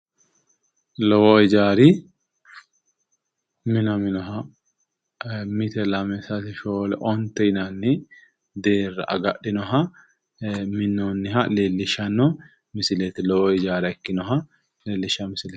Lowo hijaari minaminoha mite lame sase shoole onte yinanni deerra agadhinoha minnoonniha leellishshanno misileeti. Lowo hijaara ikkinoha leellishshawo misileeti.